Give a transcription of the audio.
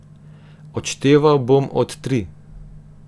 Odšteval bom od tri.